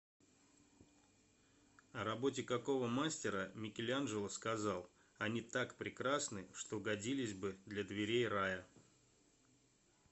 о работе какого мастера микеланджело сказал они так прекрасны что годились бы для дверей рая